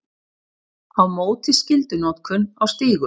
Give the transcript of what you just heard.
Á móti skyldunotkun á stígum